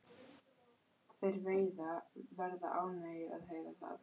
Þeir verða ánægðir að heyra það.